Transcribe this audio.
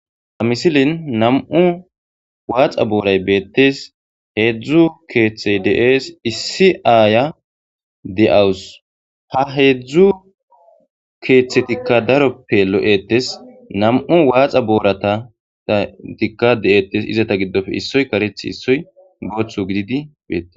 ha misilin nam7u waaxa booray beettes heedzdzu keeththey de7ees issi aaya de7awus ha heedzdzu keeththetikka daroppe lo7ettes nam7u waaxa booratata tikka de7etes izata giddofe issoy karecth issoy gooththu gididi beetes